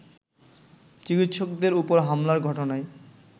চিকিৎসকদের ওপর হামলার ঘটনায়